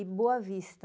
E boa vista.